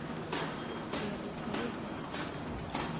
Elis Norén